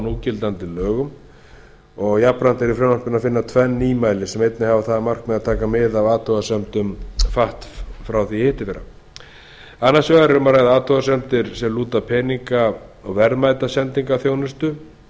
gildandi lögum jafnframt er í frumvarpinu að finna tvenn nýmæli sem einnig hafa það að markmiði að taka mið af athugasemdum fatf annars vegar er um að ræða athugasemdir sem lúta að peninga og verðmætasendingarþjónustu